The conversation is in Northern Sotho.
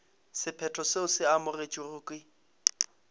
sephetho seo se amogetšwego ke